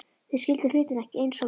Þeir skildu hlutina ekki eins og við